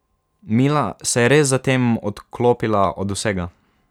Mila se je res zatem odklopila od vsega.